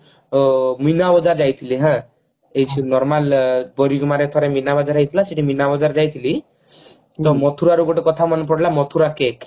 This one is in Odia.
ମିନାବଜାର ଯାଇଥିଲି ହାଁ ଏଠି normal ପରିହୁମାରେ ଥରେ ମିନାବଜାର ହେଇଥିଲା ସେଠି ମିନା ବଜାର ଯାଇଥିଲି ମୋର ମଥୁରା ରୁ ଗୋଟେ କଥା ମନେ ପଡିଲା ମଥୁରା cake